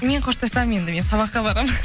мен қоштасамын енді мен сабаққа барамын